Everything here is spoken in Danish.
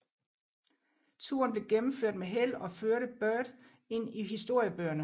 Turen blev gennemført med held og førte Byrd ind i historiebøgerne